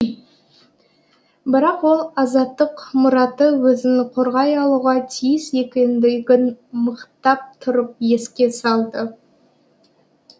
бірақ ол азаттық мұраты өзін қорғай алуға тиіс екендігін мықтап тұрып еске салды